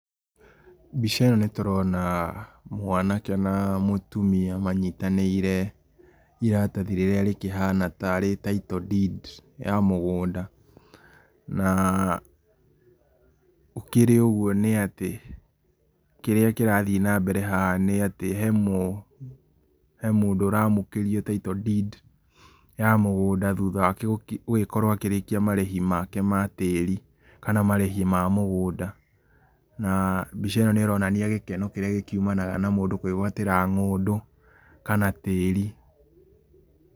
Mbica ĩno nĩtũrona mwanake na mũtumia manyitanĩire iratathi rĩrĩa rĩkĩhana ta Title Deed ya mũgũnda. Na gũkĩrĩ ũguo nĩ atĩ, kĩrĩa kĩrathiĩ nambere haha nĩ atĩ, hemũndũ ũramũkĩrio Title Deed ya mũgũnda thutha wake gũkĩrĩkia marĩhi make matĩri, kana marĩhi make mamũgũnda. Na mbica ĩno nĩ ĩronania gĩkeno kĩrĩa gĩkiumanaga na mũndũ kwĩgwatĩra ng'ũndũ, kana tĩri.